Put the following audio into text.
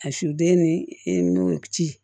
A suden ni i nun ci